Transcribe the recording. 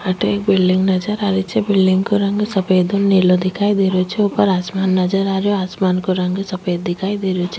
अठे एक बिलडिंग नजर आ रही छे बिलडिंग को रंग सफ़ेद और नीला दिखाई दे रो छे ऊपर आसमान नजर आ रहो आसमान को रंग सफ़ेद दिखाई दे रहो छे।